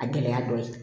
A gɛlɛya dɔ ye